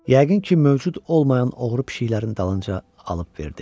Yəqin ki, mövcud olmayan oğru pişiklərin dalınca alıb verdi.